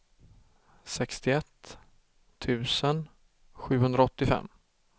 sextioett tusen sjuhundraåttiofem